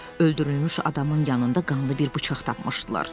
Öldürülmüş adamın yanında qanlı bir bıçaq tapmışdılar.